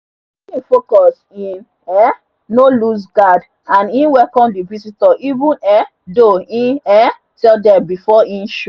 the team focus e um no loose guard and e welcome the visitor even um tho e um tell dem before e show